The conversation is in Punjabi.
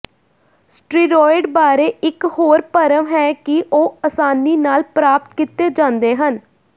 ਸਟੀਰੌਇਡ ਬਾਰੇ ਇੱਕ ਹੋਰ ਭਰਮ ਹੈ ਕਿ ਉਹ ਆਸਾਨੀ ਨਾਲ ਪ੍ਰਾਪਤ ਕੀਤੇ ਜਾਂਦੇ ਹਨ